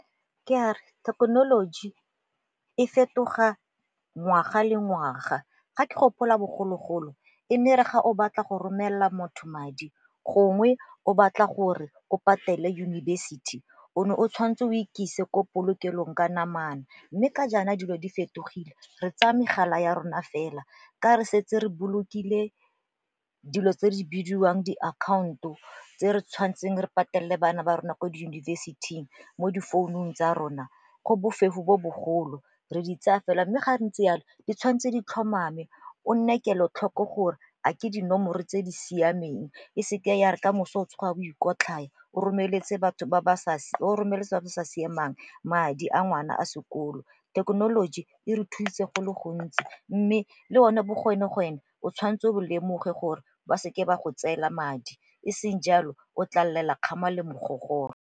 Ke a re thekenoloji e fetoga ngwaga le ngwaga. Ga ke gopola bogologolo e ne re ga o batla go romelela motho madi gongwe o batla gore o patele yunibesithi o ne o tshwanetse o ikitsise ko polokelong ka namana, mme ka jaana dilo di fetogile. Re tsaya megala ya rona fela ka re setse re bolokile dilo tse di bidiwang diakhaonto tse re tshwantseng re patelele bana ba rona ko di yunibesithing mo difounung tsa rona go bofefo bo bogolo. Re di tsaya fela mme gape ntse yalo, di tshwanetse di tlhomame o nne kelotlhoko gore a ke dinomoro tse di siameng e seke ya re ka moso o tsoga o ikotlhaya o romeletse batho ba sa siamang madi a ngwana a sekolo. Thekenoloji e re thusitse go le gontsi mme le one bo o tshwanetse o lemoge gore ba seke ba go tseela madi, e seng jalo o tla lelela kgama le mogogoro.